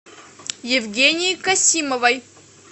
евгении касимовой